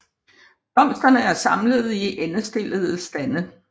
Blomsterne er samlet i endestillede stande